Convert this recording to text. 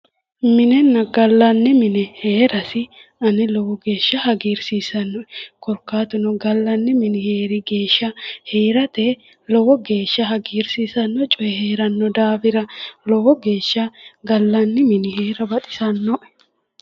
Minenna gallanni mine heerasi ane lowo geeshsha hagiirsiisannoe, korkaatuno gallanni mini heeri geeshsh heerate lowo geeshsha hagiirsisanno coyi heeranno daafira lowo geeshsha gallanni mini heera baxisannoe.